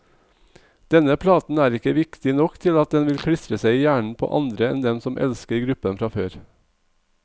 Denne platen er ikke viktig nok til at den vil klistre seg i hjernen på andre enn dem som elsker gruppen fra før.